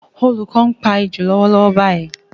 Olùkọ́ ń pa ejò lọ́wọ́lọ́wọ́ báyìí